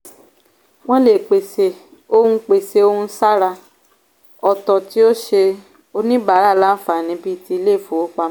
wọ́n lè pèsè ohun pèsè ohun ṣàrà ọ̀tọ̀ tí ó ṣe oníbàárà láǹfààní bíi ti ilé-ifowópamọ́.